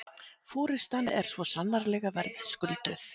Forystan er svo sannarlega verðskulduð